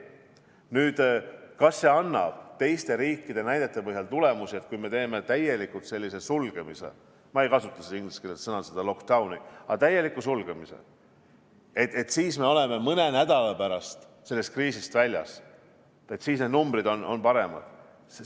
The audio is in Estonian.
Nüüd, kas see annab teiste riikide näidete põhjal tulemuse, et kui me teeme täieliku sulgemise – ma ei kasutaks siin ingliskeelset sõna lockdown –, siis me oleme mõne nädala pärast sellest kriisist väljas ja need numbrid on paremad?